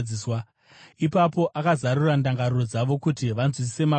Ipapo akazarura ndangariro dzavo kuti vanzwisise Magwaro.